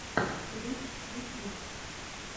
рич ютюб